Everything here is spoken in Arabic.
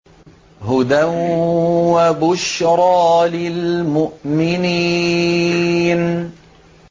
هُدًى وَبُشْرَىٰ لِلْمُؤْمِنِينَ